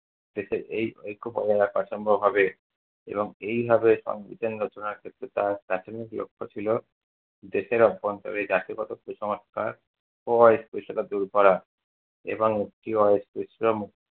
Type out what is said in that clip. এবং এইভাবে সংবিধান রচনার ক্ষেত্রে তাঁর প্রাথমিক লক্ষ ছিল দেশের অভ্যন্তরে জাতিগত কুসংস্কার ও অস্পর্শতা দূর করা। এবং একটি অস্পর্শ